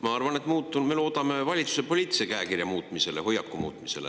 Ma arvan, et me loodame valitsuse poliitilise käekirja muutumisele, nende hoiaku muutumisele.